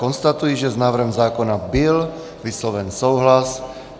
Konstatuji, že s návrhem zákona byl vysloven souhlas.